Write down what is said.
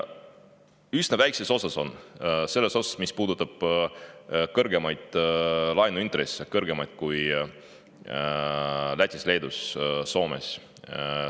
Üsna väikeses osas on, selles osas, mis puudutab kõrgemaid laenuintresse, mis on meil kõrgemad kui Lätis, Leedus ja Soomes.